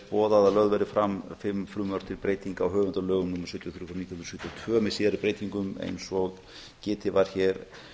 boðað að lögð verði fram fimm frumvörp til breytinga á höfundalögum númer sjötíu og þrjú nítján hundruð sjötíu og tvö með síðari breytingum eins og getið var hér